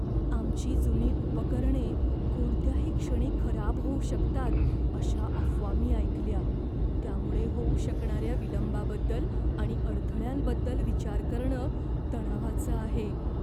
आमची जुनी उपकरणे कोणत्याही क्षणी खराब होऊ शकतात अशा अफवा मी ऐकल्या. त्यामुळे होऊ शकणाऱ्या विलंबाबद्दल आणि अडथळ्यांबद्दल विचार करणं तणावाचं आहे.